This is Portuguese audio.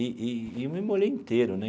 E e e eu me molhei inteiro, né?